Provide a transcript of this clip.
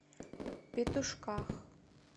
петушках